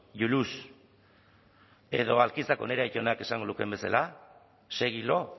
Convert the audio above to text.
you lose edo alkizako nire aitonak esango lukeen bezala segi lo